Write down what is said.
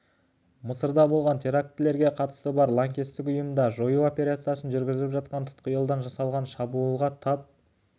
мысырда болған терактілерге қатысы бар лаңкестік ұйымды жою операциясын жүргізіп жатқанда тұтқиылдан жасалған шабуылға тап